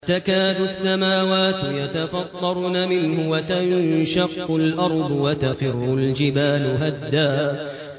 تَكَادُ السَّمَاوَاتُ يَتَفَطَّرْنَ مِنْهُ وَتَنشَقُّ الْأَرْضُ وَتَخِرُّ الْجِبَالُ هَدًّا